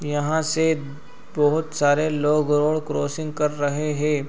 यहाँ से बहुत सारे लोग रोड क्रासिंग कर रहे है।